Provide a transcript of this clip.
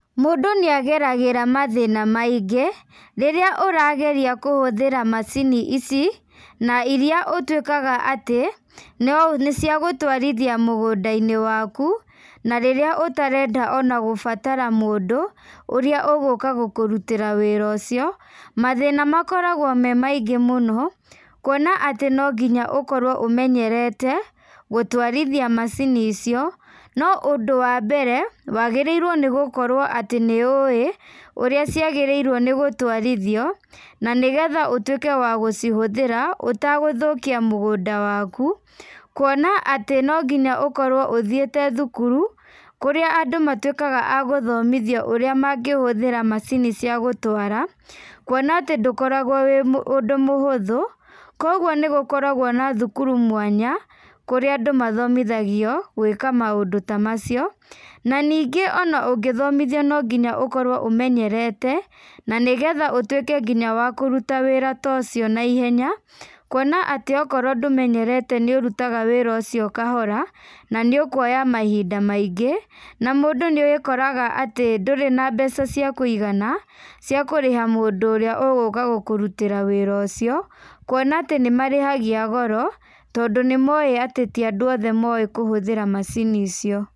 Mũndũ nĩageragĩra mathĩna maingĩ, rĩrĩa ũrageria kũhũthĩra macini ici, na iria ũtuĩkaga atĩ, nĩ nĩciagũtwarithia mũgũndainĩ waku, na rĩrĩa ũtarenda ona gũbatara mũndũ, ũrĩa ũgũka gũkũrutĩra wĩra ũcio, mathĩna makoragwo me maingĩ mũno, kuona atĩ nonginya ũkorwo ũmenyerete, gũtwarithia macini icio, no ũndũ wambere, wagĩrĩirwo nĩgũkorwo atĩ nĩũĩ, ũrĩa ciagĩrĩirwo nĩgũtwarithio, na nĩgetha ũtuĩke wa gũcihũthĩra, ũtagũthukia mũgũnda waku, kuona atĩ no nginya ũkorwo ũthiĩte thukuru, kũrĩa andũ matuĩkaga a gũthomithio ũrĩa mangĩhũthĩra macini cia gũtwara, kuona atĩ ndũkoragwo wĩ ũndũ mũhũthu, koguo nĩgũkoragwo na thukuru mwanya, kũrĩa andũ mathomithagio, gwĩka maũndũ ta macio, na ningĩ ona ũngĩthomithio no nginya ũkorwo ũmenyerete, na nĩgetha ũtuĩke nginya wa kũrũta wĩra ta ũcio na ihenya, kuona atĩ okorwo ndũmenyerete nĩũrutaga wĩra ũcio kahora, na nĩũkuoya mahinda maingĩ, na mũndũ nĩekoraga atĩ ndũri na mbeca cia kũigana, cia kũrĩha mũndũ ũrĩa ũgũka gũkũrutĩra wĩraũcio, kuona atĩ nĩmarĩhagia goro, tondũ nĩmoĩ ati ti andũ othe moĩ kũhũthĩra macini icio.